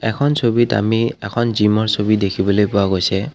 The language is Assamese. এখন ছবিত আমি এখন জিমৰ ছবি দেখিবলৈ পোৱা গৈছে।